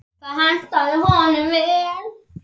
Það hentaði honum vel.